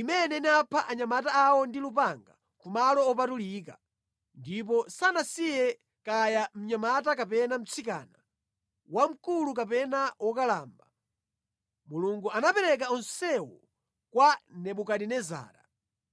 imene inapha anyamata awo ndi lupanga ku malo opatulika, ndipo sanasiye kaya mnyamata kapena mtsikana, wamkulu kapena wokalamba. Mulungu anapereka onsewo kwa Nebukadinezara.